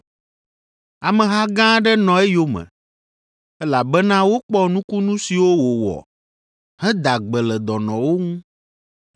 Ameha gã aɖe nɔ eyome, elabena wokpɔ nukunu siwo wòwɔ heda gbe le dɔnɔwo ŋu.